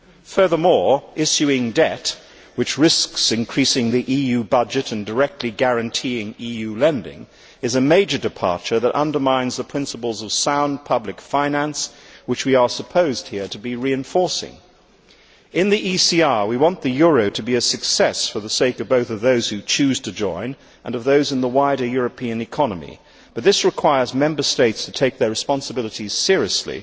Furthermore, issuing debt, which risks increasing the EU budget and directly guaranteeing EU lending, is a major departure that undermines the principles of sound public finance which we are supposed here to be reinforcing. In the ECR, we want the euro to be a success for the sake both of those who choose to join and of those in the wider European economy, but this requires Member States to take their responsibilities seriously,